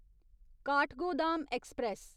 Kathgodam express